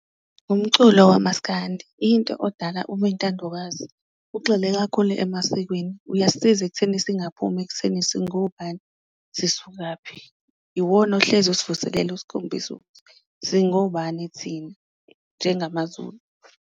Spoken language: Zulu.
Umculo wamaskandi into odala ube intandokazi ugxile kakhulu emasikweni, uyasisiza ekutheni singaphumi ekutheni singobani sisukaphi, iwona ohlezi usivuselela usikhombisa singobani thina njengamaZulu.